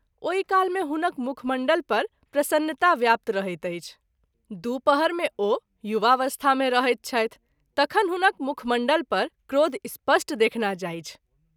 ओहि काल मे हुनक मुखमण्डल पर प्रसन्नता व्याप्त रहैत अछि, दू पहर मे ओ युवावस्था मे रहैत छथि तखन हुनक मुखमण्डल पर क्रोध स्पष्ट देखना जाइछ।